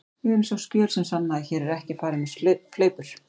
Við viljum sjá skjöl sem sanna að hér sé ekki farið með fleipur.